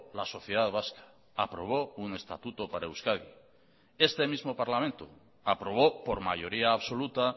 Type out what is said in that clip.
la sociedad vasca aprobó un estatuto para euskadi este mismo parlamento aprobó por mayoría absoluta